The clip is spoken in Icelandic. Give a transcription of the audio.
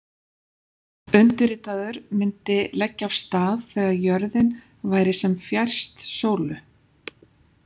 Undirritaður myndi leggja af stað þegar jörðin væri sem fjærst sólu.